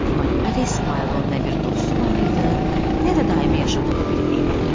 Buna görə də İsmayılın nə bir dostu var idi, nə də daimi yaşadığı bir evi.